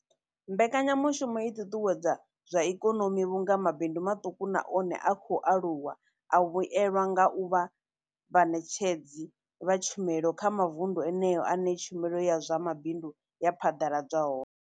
Mbekanya mushumo i ṱuṱuwedza zwa ikonomi vhunga mabindu maṱuku na one a khou aluwa a vhuelwa nga u vha vhaṋetshedzi vha tshumelo kha mavundu eneyo ane tshumelo ya zwa mabindu ya phaḓaladzwa hone.